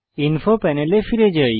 info প্যানেলে ফিরে যাই